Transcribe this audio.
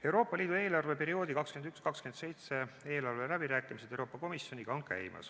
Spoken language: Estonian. Euroopa Liidu eelarveperioodi 2021–2027 eelarveläbirääkimised Euroopa Komisjoniga on käimas.